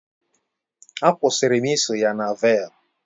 Akwusirim iso ya na velp